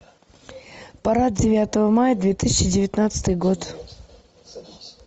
парад девятого мая две тысячи девятнадцатый год